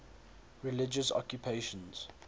religious occupations